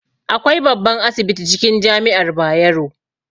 Akwai babban asibiti cikin jami'ar Bayero